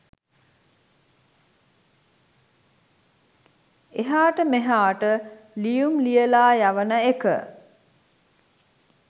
එහාට මෙහාට ලියුම් ලියලා යවන එක